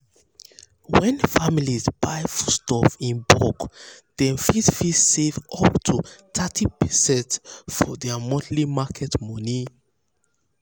when families buy foodstuff in bulk dem fit fit save up to thirty percent for their monthly market money.